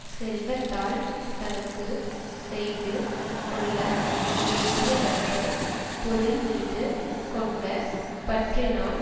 செல்வத்தால் தனக்கு செய்து கொள்ள வேண்டியவற்றைப் பொருள் மீது கொண்ட பற்றினால்